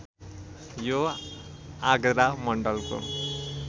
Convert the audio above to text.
यो आगरा मण्डलको